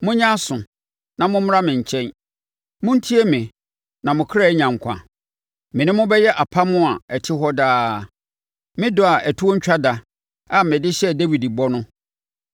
Monyɛ aso, na mommra me nkyɛn; montie me, na mo kra anya nkwa. Me ne mo bɛyɛ apam a ɛte hɔ daa, me dɔ a ɛtoɔ ntwa da a mede hyɛɛ Dawid bɔ no.